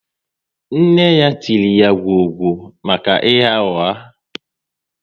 Nne ya tiri ya gwọọ gwo maka ịgha ụgha